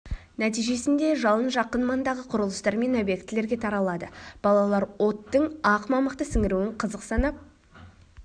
нәтижесінде жалын жақын маңдағы құрылыстар мен обьектілерге таралады балалар оттың ақ мамықты сіңіруін қызық санап